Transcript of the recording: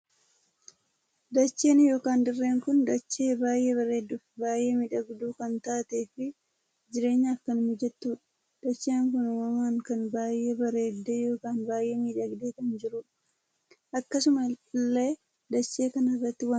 Dacheen ykn dirree kun dachee baay'ee bareedduu fi baay'ee miidhagduu kan taatee fi jireenyaaf kan mijattudha. dacheen kun uumamaan kan baay'ee bareeddee ykn baay'ee miidhagee kan jirudha. akkasuma illee dachee kana irratti wantoota hedduu argaa jirru.